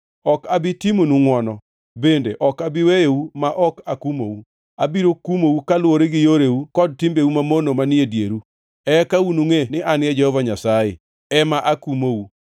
Ok abi timonu ngʼwono; bende ok abi weyou ma ok akumou. Abiro kumou kaluwore gi yoreu kod timbeu mamono manie dieru. Eka unungʼe ni an Jehova Nyasaye, ema akumou.